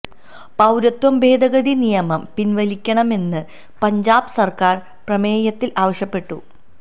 പൌരത്വ ഭേദഗതി നിയമം പിന്വലിക്കണമെന്ന് പഞ്ചാബ് സര്ക്കാര് പ്രമേയത്തില് ആവശ്യപ്പെട്ടു